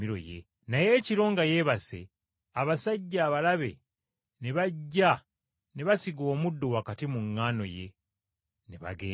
naye ekiro nga yeebase abasajja abalabe ne bajja ne basiga omuddo wakati mu ŋŋaano ye ne bagenda.